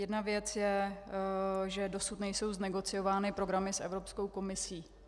Jedna věc je, že dosud nejsou znegociovány programy s Evropskou komisí.